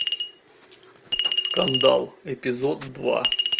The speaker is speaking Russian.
скандал эпизод два